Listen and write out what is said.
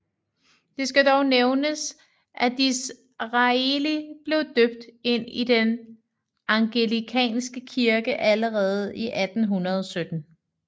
Det skal dog nævnes at Disraeli blev døbt ind i den anglikanske kirke allerede i 1817